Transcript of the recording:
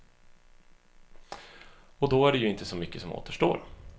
Och då är det ju inte så mycket som återstår.